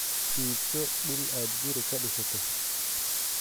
Iibso dhul aad guri ka dhisato.